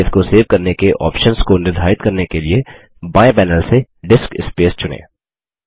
disc space को save करने के ऑप्शन्स को निर्धारित करने के लिए बाएँ पैनल से डिस्क स्पेस चुनें